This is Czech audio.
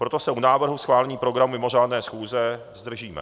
Proto se u návrhu schválení programu mimořádné schůze zdržíme.